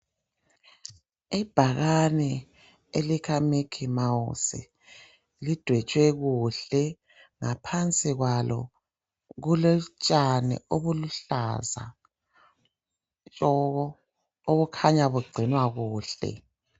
Ibhakane elika Micky Mouse lidwetshwe kuhle. Ngaphansi kwalo kulotshani obuluhlaza tshoko obukhanya bugcinwa kuhle.